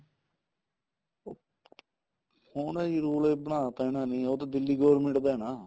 ਹੁਣ ਇਹ rule ਬਨਾਤਾ ਇਹਨਾ ਨੇ ਉਹ ਤਾਂ ਦਿੱਲੀ government ਦਾ ਹੈ ਨਾ